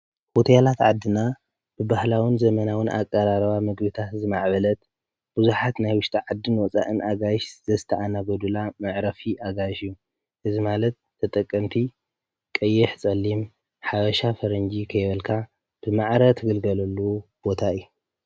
ሆቴላት ዓድና ብባህላውን ዘመናውን ኣቐራርባ ምግብታት ዝማዕበለት ብዙሓት ናይ ወሽጢ ዓድን ወፃእን ኣጋይሽ ዘስተኣናግዱላ መዕረፊ ኣጋይሽ እዩ። እዚ ማለት ተጠቀምቲ ቀይሕ ጸሊም ሓባሻ ፈረንጂ ኸይበልካ ብማዕረ ትግልገለሉ ቦታ ኢዩ።